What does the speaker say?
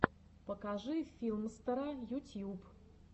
покажи филмстера ютьюб